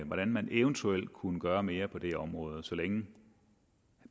hvordan man eventuelt kunne gøre mere på det område så længe